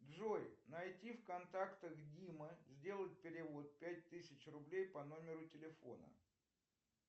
джой найти в контактах дима сделать перевод пять тысяч рублей по номеру телефона